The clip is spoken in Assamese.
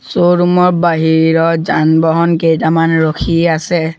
শ্ব'ৰুম ৰ বাহিৰত যান-বাহন কেইটামান ৰখি আছে।